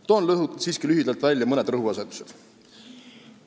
Toon siiski lühidalt mõned rõhuasetused.